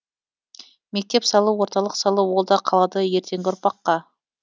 мектеп салу орталық салу ол да қалады ертеңгі ұрпаққа